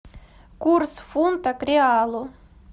курс фунта к реалу